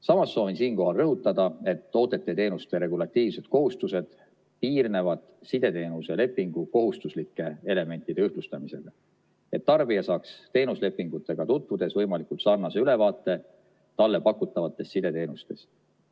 Samas soovin siinkohal rõhutada, et toodete ja teenuste regulatiivsed kohustused piirnevad sideteenuse lepingu kohustuslike elementide ühtlustamisega, et tarbija saaks teenuslepingutega tutvudes võimalikult sarnase ülevaate talle pakutavatest sideteenustest.